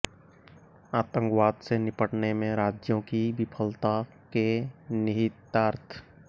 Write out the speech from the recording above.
आतंकवाद से निपटने में राज्यों की विफलता के निहितार्थ